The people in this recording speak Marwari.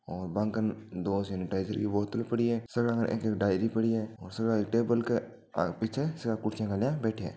और बांकन दो सेनिटाइज़र की बोतल पड़ी है सगला कने एक एक डायरी पड़ी है और सगला एक टेबल की पीछे सगला कुर्सियां गाल्या बैठया है।